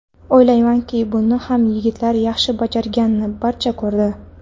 O‘ylaymanki, buni ham yigitlar yaxshi bajarganini barcha ko‘rdi.